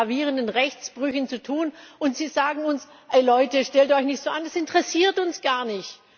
Wir haben es mit gravierenden Rechtsbrüchen zu tun, und Sie sagen uns Leute, stellt euch nicht so an, das interessiert uns gar nicht.